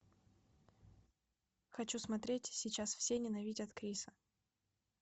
хочу смотреть сейчас все ненавидят криса